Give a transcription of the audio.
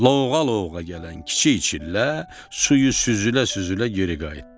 Loğlağa gələn Kiçik Çillə suyu süzülə-süzülə geri qayıtdı.